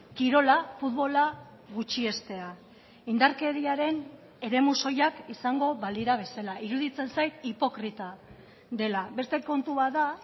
kirola futbola gutxiestea indarkeriaren eremu soilak izango balira bezala iruditzen zait hipokrita dela beste kontu bat da